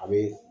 A be